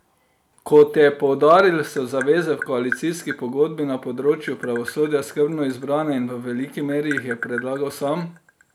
Kot je poudaril, so zaveze v koalicijski pogodbi na področju pravosodja skrbno izbrane in v veliki meri jih je predlagal sam.